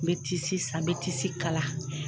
N bɛ tisi san n bɛ tisi kala.